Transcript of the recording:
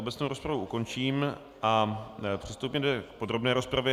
Obecnou rozpravu ukončím a přistoupíme k podrobné rozpravě.